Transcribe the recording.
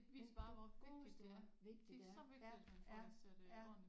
Ja du godeste hvor vigtigt det er ja ja ja